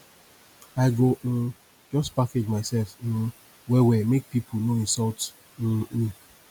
i go um just package mysef um wellwell make pipo no insult um me